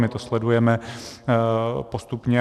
My to sledujeme postupně.